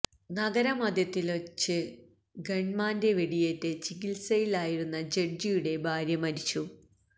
നഗരമധ്യത്തില്വെച്ച് ഗണ്മാന്റെ വെടിയേറ്റ് ചികിത്സയില് ആയിരുന്ന ജഡ്ജിയുടെ ഭാര്യ മരിച്ചു